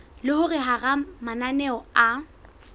le hore hara mananeo a